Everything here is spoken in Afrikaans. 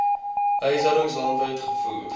huishoudings landwyd gevoer